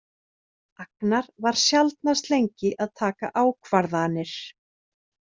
Agnar var sjaldnast lengi að taka ákvarðanir.